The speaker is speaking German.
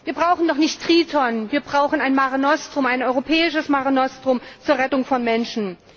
Wir brauchen doch nicht Triton, wir brauchen ein europäisches Mare Nostrum zur Rettung von Menschen.